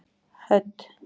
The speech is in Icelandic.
Hödd